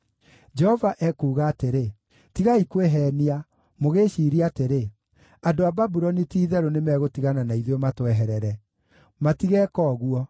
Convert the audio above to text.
“Jehova ekuuga atĩrĩ: Tigai kwĩheenia, mũgĩĩciiria atĩrĩ, ‘Andũ a Babuloni ti-itherũ nĩmegũtigana na ithuĩ matweherere.’ Matigeeka ũguo!